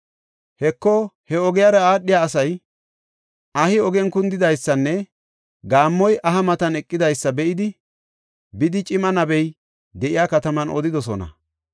Heko, he ogiyara aadhiya asay ahi ogen kundidaysanne gaammoy aha matan eqidysa be7idi, bidi cima nabey de7iya kataman odidosona.